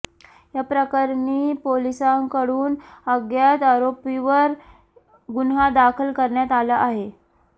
याप्रकरणी पोलिसांकडून अज्ञात आरोपीवर गुन्हा दाखल करण्यात आला आहे